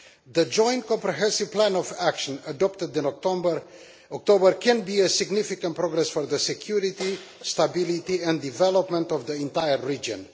The Joint Comprehensive Plan of Action, adopted in October, can be a significant step forward for the security, stability and development of the entire region.